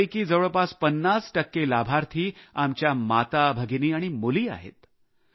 यापैकी जवळपास 50 टक्के लाभार्थी आमच्या माता भगिनी आणि मुली आहेत